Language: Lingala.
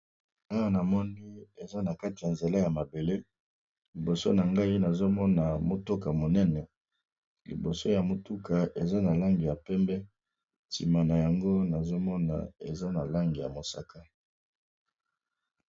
Awa namoni eza na kati ya nzela ya mabele, liboso na ngai nazo mona motuka monene liboso ya motuka eza na langi ya pembe sima na yango nazo mona eza na langi ya mosaka.